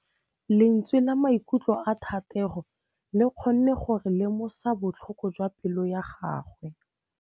Lentswe la maikutlo a Thategô le kgonne gore re lemosa botlhoko jwa pelô ya gagwe.